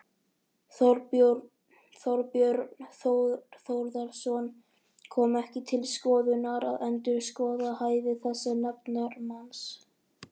Þorbjörn Þórðarson: Kom ekki til skoðunar að endurskoða hæfi þessa nefndarmanns?